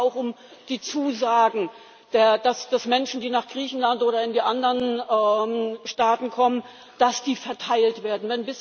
Da geht es aber auch um die Zusagen, dass Menschen, die nach Griechenland oder in die anderen Staaten kommen, verteilt werden.